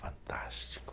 Fantástico.